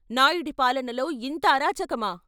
' నాయుడి పాలనలో ఇంత అరాచకమా?